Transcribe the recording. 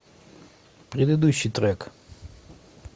предыдущий трек